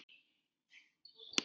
Hún fór að borða.